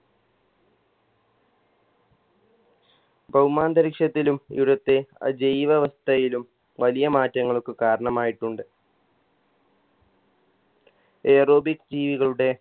ഭൗമാന്തരീക്ഷത്തിലും ഇവുടത്തെ അജൈവവസ്തയിലും വലിയ മാറ്റങ്ങൾക്ക് കാരണമായിട്ടുണ്ട് aerobic ജീവികളുടെ